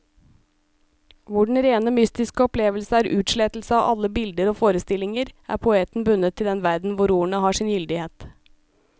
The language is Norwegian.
Hvor den rene mystiske opplevelse er utslettelse av alle bilder og forestillinger, er poeten bundet til den verden hvor ordene har sin gyldighet.